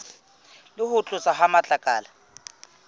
le ho tloswa ha matlakala